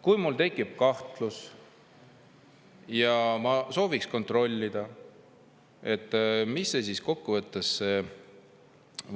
Kui mul tekib kahtlus ja ma sooviks kontrollida, mis siis kokkuvõttes